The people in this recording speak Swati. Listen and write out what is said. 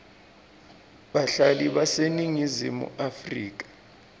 bahlali baseningizimu afrika